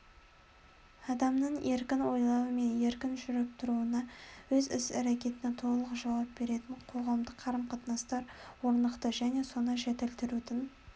адамның еркін ойлауы мен еркін жүріп тұруына өз іс-әрекетіне толық жауап беретін қоғамдық қарым-қатынастар орнықты және соны жетілдірудің